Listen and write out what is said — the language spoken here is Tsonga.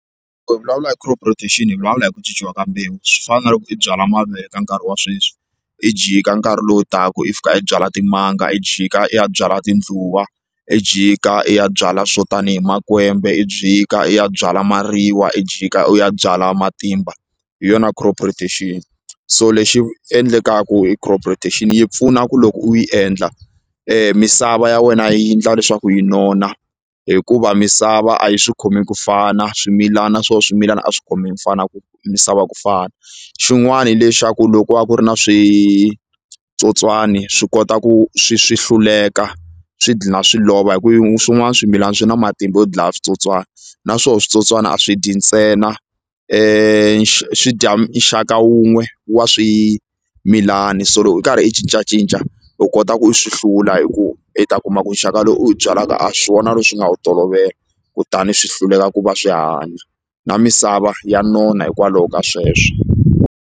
hi vulavula hi crop rotation hi vulavula hi ku cinnciwa ka mbewu swi fana na loko i byala mavele ka nkarhi wa sweswi i jika nkarhi lowu taka i fika i byala timanga i jika i ya byala tindluwa i jika i ya byala swo tanihi makwembe i jika i ya byala mariwa i jika u ya byala matimba hi yona crop rotation so lexi endlekaku i crop rotation yi pfuna ku loko u yi endla misava ya wena yi ndla leswaku yi nona hikuva misava a yi swi khomi ku fana swimilana na swo swimilana a swi khomi misava ku misava ku fana xin'wani hi lexaku loko a ku ri na switsotswani swi kota ku swi swi hluleka swi dlina swi lova hi ku swin'wani swimilani swi na matimba yo dlaya switsotswani na swo switsotswani a swi dyi ntsena swi dya nxaka wun'we wa swimilani so loko i karhi i cincacinca u kota ku swi hlula hi ku i ta kuma ku nxaka lowu i wu byalaka a swi wona lowu swi nga wu tolovela kutani swi hluleka ku va swi hanya na misava ya nona hikwalaho ka sweswo.